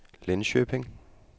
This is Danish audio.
Linköping